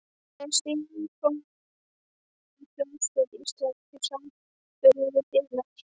Hvernig er Sinfóníuhljómsveit Íslands í samanburði við hinar?